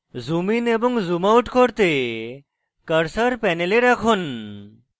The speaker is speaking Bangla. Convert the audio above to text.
zoom in এবং zoom out করতে cursor panel রাখুন